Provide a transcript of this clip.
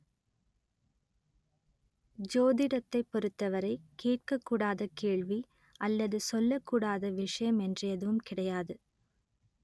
ஜோதிடத்தைப் பொறுத்தவரை கேட்கக் கூடாத கேள்வி அல்லது சொல்லக் கூடாத விஷயம் என்று எதுவும் கிடையாது